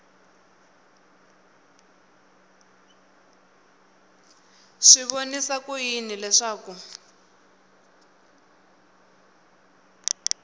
swi vonisa ku yini leswaku